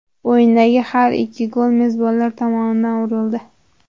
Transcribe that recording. O‘yindagi har ikki gol mezbonlar tomonidan urildi.